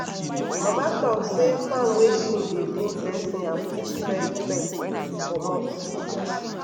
mama talk say farm wey clean dey bring blessing and push pest pest commot.